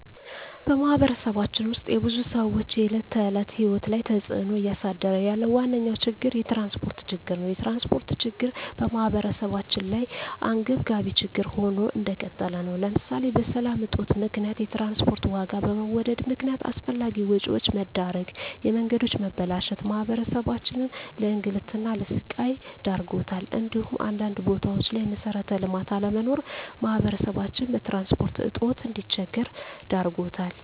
በማህበረሰባችን ውስጥ የብዙ ሰዎች የዕለት ተዕለት ህይወት ላይ ተፅእኖ እያሳደረ ያለው ዋነኛ ችግር የትራንስፖርት ችግር ነው። የትራንስፖርት ችግር በማህበረሰባችን ላይ አንገብጋቢ ችግር ሆኖ እንደቀጠለ ነው ለምሳሌ በሰላም እጦት ምክንያት የትራንስፖርት ዋጋ በመወደድ ምክነያት አላስፈላጊ ወጪዎች መዳረግ፣ የመንገዶች መበላሸት ማህበረሰባችንን ለእንግልትና ለስቃይ ዳርጓታል እንዲሁም አንዳንድ ቦታዎች ላይ መሠረተ ልማት አለመኖር ማህበረሰባችን በትራንስፖርት እጦት እንዲቸገር ዳርጎታል።